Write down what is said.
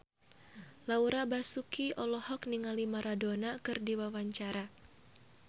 Laura Basuki olohok ningali Maradona keur diwawancara